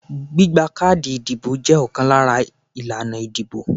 Gbígba káàdì ìdìbò jẹ́ ọ̀kan lára ìlànà ìdìbò.